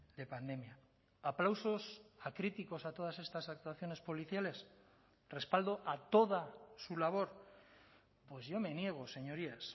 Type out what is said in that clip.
de pandemia aplausos a críticos a todas estas actuaciones policiales respaldo a toda su labor pues yo me niego señorías